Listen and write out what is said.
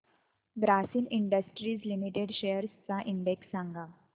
Grasim industries limited shares चा index सांगा